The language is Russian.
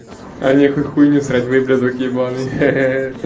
а нехуй хуйню срать выблядок ебаный